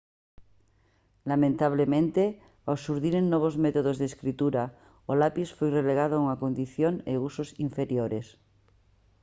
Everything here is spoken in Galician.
lamentablemente ao xurdiren novos métodos de escritura o lapis foi relegado a unha condición e usos inferiores